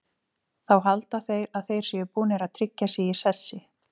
Þá halda þeir að þeir séu búnir að tryggja sig í sessi.